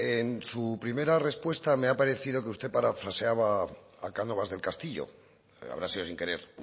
en su primera respuesta me ha parecido que usted parafraseaba a cánovas del castillo habrá sido sin querer